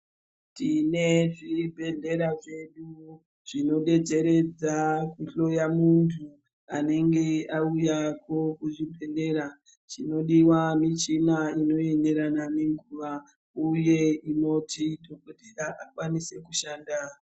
Tine zvibhedhlera zvedu zvinodedzeredza kuhloya muntu anenge auyako kuzvibhedhleya chinodiwa michina inoenderana nenguwa uye inoti dhokodhera akwanise kushanda.